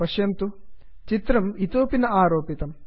पश्यन्तु चित्रं इतोपि न आरोपितम्